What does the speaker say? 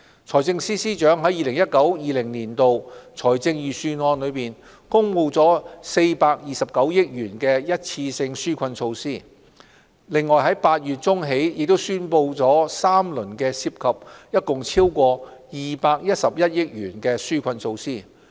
財政司司長在 2019-2020 年度財政預算案公布了429億元的一次性紓困措施，由8月中起亦宣布了三輪涉及共超過211億元的紓困措施。